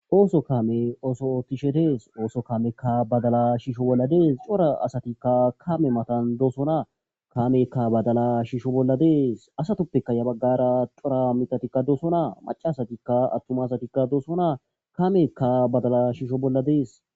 ooso kame ooso oottishe dees ooso kamekka badala shiisho bolla dees cora asatikka kame matan doosona kamekka badala shiisho bolla dees asatoppeka ya baggara cora mitatikka doosonaa macaasatikka attuma asatikka doosonaa kamekka badala shiisho bolla dees